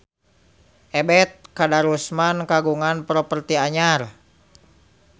Ebet Kadarusman kagungan properti anyar